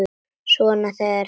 Svona þegar með þarf.